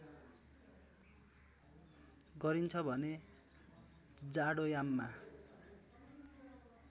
गरिन्छ भने जाडोयाममा